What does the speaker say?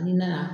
N'i nana